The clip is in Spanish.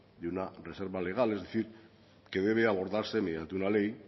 de una reserva legar es decir que debe abordarse mediante una ley